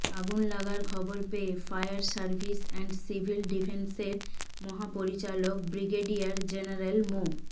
আগুন লাগার খবর পেয়ে ফায়ার সার্ভিস অ্যান্ড সিভিল ডিফেন্সের মহাপরিচালক ব্রিগেডিয়ার জেনারেল মো